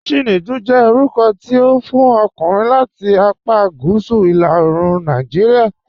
Chinedu jẹ́ orúkọ̀ tí a fún ọ̀kùnrin láti àpá Gúúsù ìlà òòrùn Nàìjíríà.